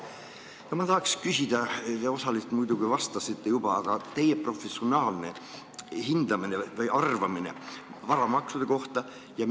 Osaliselt te muidugi sellele juba vastasite, aga milline on teie professionaalne hinnang või arvamus varamaksude kohta?